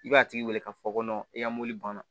I b'a tigi wele k'a fɔ i ka mɔbili banna